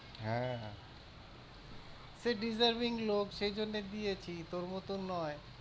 হ্যাঁ হ্যাঁ, সে deserving লোক সেই জন্যে দিয়েছি তোর মতন নয়।